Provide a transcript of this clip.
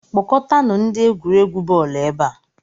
Kpọkọtanụ ndị egwuregwu bọọlụ ebe a